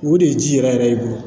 O de ye ji yɛrɛ yɛrɛ i bolo